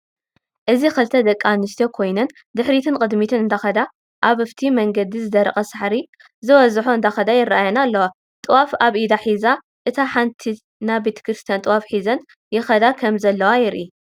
እዚ ክልተ ደቂ ኣንስትዮ ኮይነን ድሕርትንቅድሚትን እዳከዳ ኣብ ፍቲ መንገድ ዝደረቀ ሳዕሪ ዝወዝሖ እዳከዳ ይርኣየና ኣለዋ ጥዋፍ ኣብ ኢዳ ሕዛ እታ ሓንቲት ናይ ቤተክርስትያን ጥዋፍ ሕዚን ይከደ ከም ዘለዋ ንርኢ።